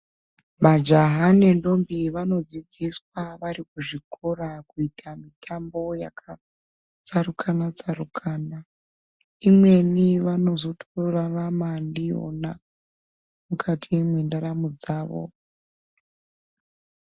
Majaha nendombi vanodzidziswa vari kuzvikora kuita mutambo yakatsarukana-tsarukana. Imweni vanozotorarama ndiyona mukati mwendaramo dzavo .